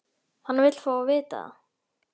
Hann vill fá að vita það.